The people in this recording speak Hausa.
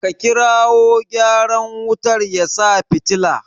A kirawo gyaran wutar ya sa fitila!